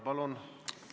Palun!